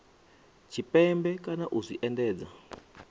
tshipembe kana u zwi endedza